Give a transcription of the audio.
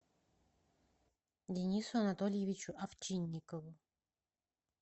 денису анатольевичу овчинникову